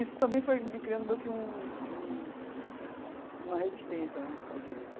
Isso também foi me criando meio que um um uma resistência né ao direito.